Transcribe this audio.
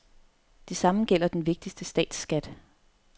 Det samme gælder den vigtigste statsskat.